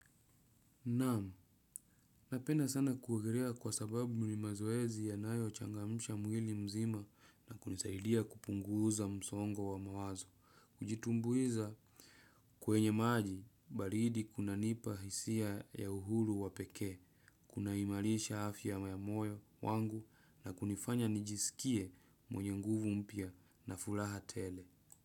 Naam, napenda sana kuogelea kwa sababu ni mazoezi yanayochangamsha mwili mzima na kunisaidia kupunguza msongo wa mawazo. Kujitumbuiza kwenye maji, baridi kunanipa hisia ya uhuru wa pekee, kunaimarisha afya ya moyo wangu na kunifanya nijisikie mwenye nguvu mpya na furaha tele.